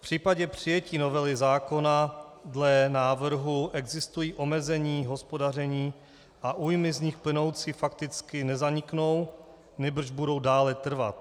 V případě přijetí novely zákona dle návrhu existují omezení hospodaření a újmy z nich plynoucí fakticky nezaniknou, nýbrž budou dále trvat.